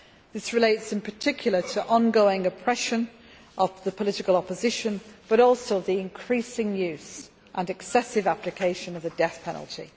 This relates in particular to ongoing oppression of the political opposition, but also to the increasing use and excessive application of the death penalty.